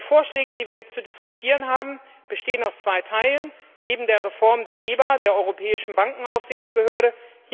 Die Vorschläge, die wir jetzt zu diskutieren haben, bestehen aus zwei Teilen eben der Reform der EBA, der Europäischen Bankenaufsichtsbehörde.